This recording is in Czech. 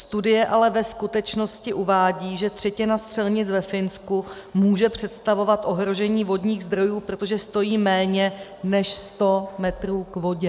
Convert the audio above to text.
Studie ale ve skutečnosti uvádí, že třetina střelnic ve Finsku může představovat ohrožení vodních zdrojů, protože stojí méně než sto metrů k vodě.